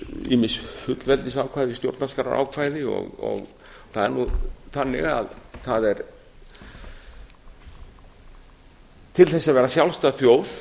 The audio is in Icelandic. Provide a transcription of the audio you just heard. ýmis fullveldisákvæði í stjónarskrárákvæði og það er nú þannig að til þess að vera sjálfstæð þjóð